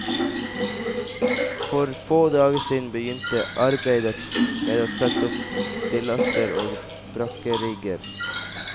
For få dager siden begynte arbeidet med å sette opp stillaser og brakkerigger.